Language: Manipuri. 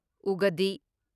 ꯎꯒꯗꯤ